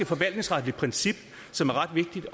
forvaltningsretligt princip som er ret vigtigt